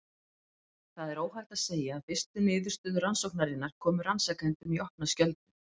Það er óhætt að segja að fyrstu niðurstöður rannsóknarinnar komu rannsakendum í opna skjöldu.